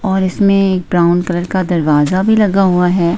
और इसमें brown colour का दरवाजा भी लगा हुआ है।